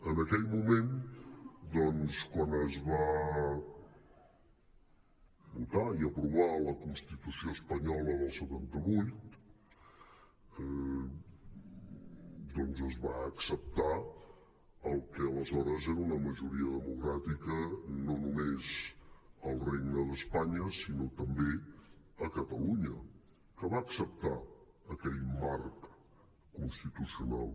en aquell moment quan es va votar i aprovar la constitució espanyola del setanta vuit doncs es va acceptar el que aleshores era una majoria democràtica no només al regne d’espanya sinó també a catalunya que va acceptar aquell marc constitucional